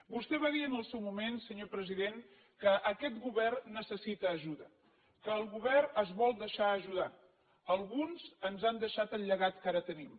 vostè va dir en el seu moment senyor president que aquest govern necessita ajuda que el govern es vol deixar ajudar alguns ens han deixat el llegat que ara tenim